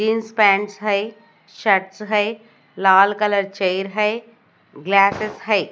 Jeans pants है shirts है लाल कलर चेयर है ग्लासेस है।